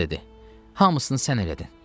Qız dedi: hamısını sən elədin.